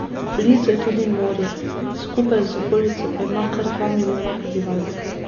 Blizu je tudi morje, skupaj z okolico pa ima kar dva milijona prebivalcev.